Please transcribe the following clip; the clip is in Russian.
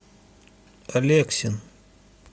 алексин